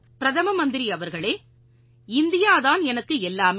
பிரதம மந்திரி அவர்களே இந்தியா தான் எனக்கு எல்லாமே